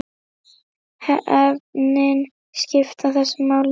Efnin skipta mestu máli.